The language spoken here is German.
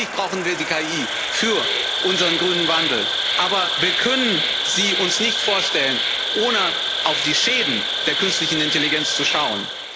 Natürlich brauchen wir die KI für unseren grünen Wandel, aber wir können sie uns nicht vorstellen, ohne auf die Schäden der künstlichen Intelligenz zu schauen.